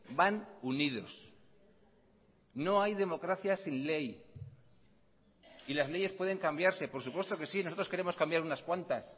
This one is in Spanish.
van unidos no hay democracia sin ley y las leyes pueden cambiarse por supuesto que sí nosotros queremos cambiar unas cuantas